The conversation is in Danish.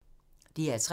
DR P3